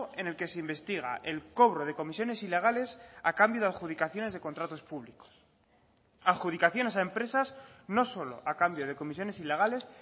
en el que se investiga el cobro de comisiones ilegales a cambio de adjudicaciones de contratos públicos adjudicaciones a empresas no solo a cambio de comisiones ilegales